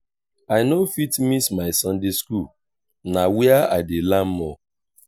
i no fit miss my sunday school na where i dey learn more.